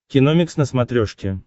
киномикс на смотрешке